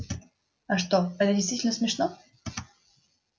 а что это действительно смешно